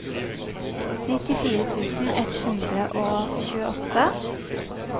nittifire tusen ett hundre og tjueåtte